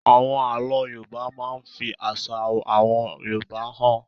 Àwọn àlọ́ Yorùbá máa ń fi àṣà àwọn Yorùbá hàn.